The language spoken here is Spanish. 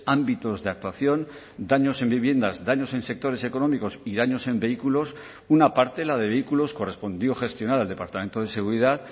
ámbitos de actuación daños en viviendas daños en sectores económicos y daños en vehículos una parte la de vehículos correspondió gestionar el departamento de seguridad